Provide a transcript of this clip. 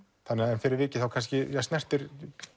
en fyrir vikið þá snertir